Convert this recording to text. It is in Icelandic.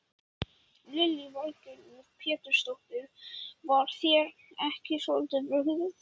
Lillý Valgerður Pétursdóttir: Var þér ekki svolítið brugðið?